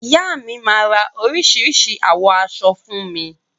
Ìyá mi máa ra oríṣìíríṣìí àwọ̀ aṣọ fún mi.